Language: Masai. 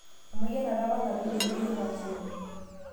Emayianata apa natooruoki yiok aasioki